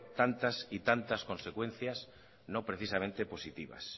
tantas y tantas consecuencias no precisamente positivas